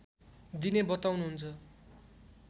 दिने बताउनुहुन्छ